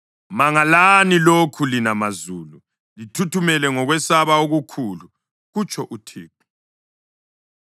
Mangalani lokhu, lina mazulu, lithuthumele ngokwesaba okukhulu,” kutsho UThixo.